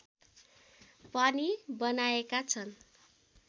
पनि बनाएका छन्